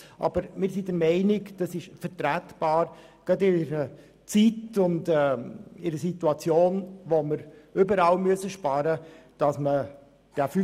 Aber das ist vertretbar, gerade in einer Zeit und in der Situation, wo wir überall sparen müssen.